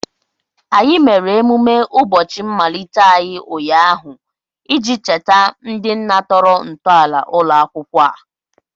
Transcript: Anyị mere emume ụbọchị mmalite anyị ụnyaahụ iji cheta ndị nna tọrọ ntọala ụlọ akwụkwọ a